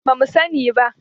Ba mu sani ba.